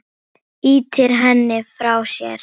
Ýtir henni frá sér.